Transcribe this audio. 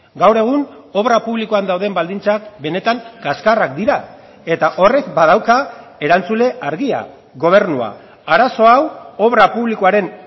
gaur egun obra publikoan dauden baldintzak benetan kaskarrak dira eta horrek badauka erantzule argia gobernua arazo hau obra publikoaren